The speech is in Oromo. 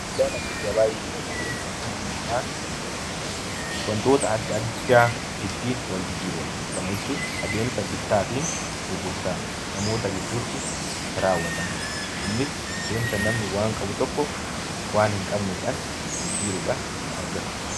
Daldaalaa fi gabaa jechuun adeemsa dhalli namaa wantoota adda addaa ittiin wal jijjiiru jechuudha. Kana jechuun adeemsa bittaa fi gurgurtaa namoota gidduutti gaggeeffamu jechuudha. Innis adeemsa namni waan qabu tokko waan hin qabneen wal jijjiiruudhaan argatu jechuudha.